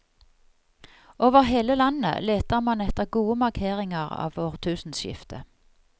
Over hele landet leter man etter gode markeringer av årtusenskiftet.